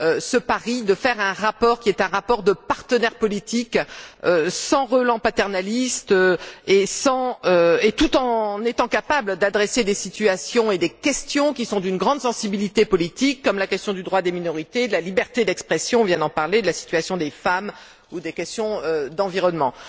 ce pari de faire un rapport qui est un rapport de partenaire politique, sans relents paternalistes, tout en étant capable d'aborder des situations et des questions, qui sont d'une grande sensibilité politique, comme la question du droit des minorités, de la liberté d'expression on vient d'en parler de la situation des femmes ou les questions relatives à l'environnement.